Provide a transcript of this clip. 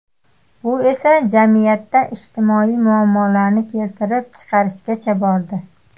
Bu esa jamiyatda ijtimoiy muammolarni keltirib chiqarishgacha bordi.